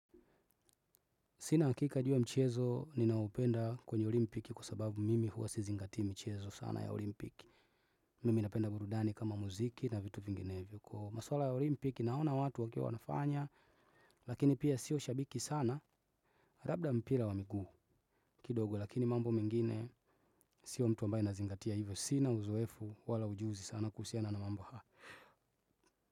Sina hakika ju ya mchezo ninaupenda kwenye olimpiki kwa sababu mimi huwa sizingatii michezo sana ya olimpiki. Mimi napenda burudani kama muziki na vitu vinginevyo. Kwa maswala ya olimpiki naona watu wakiwa wanafanya lakini pia sio shabiki sana. Labda mpira wa miguu kidogo lakini mambo mengine sio mtu ambaye nazingatia hivyo. Sina uzoefu wala ujuzi sana kuhusiana na mambo haa.